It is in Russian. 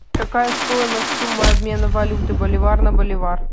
какая стоимость сумма обмена валюты боливар на боливар